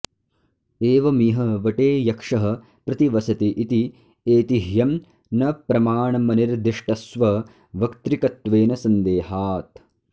एवमिह वटे यक्षः प्रतिवसति इति ऐतिह्यं न प्रमाणमनिर्दिष्टस्ववक्तृकत्वेन सन्देहात्